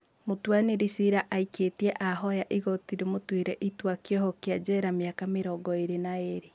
Mũtuanĩri cira aikĩtie ahoya igoti rĩmaatuire itua rĩa kĩoho njera mĩaka mĩrongo ĩĩrĩ na ĩĩrĩ